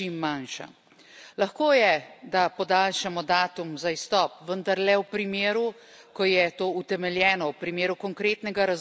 Lahko je, da podaljšamo datum za izstop, vendar le v primeru, ko je to utemeljeno, v primeru konkretnega razloga, kot so npr.